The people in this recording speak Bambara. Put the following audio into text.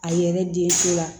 A yɛrɛ den so la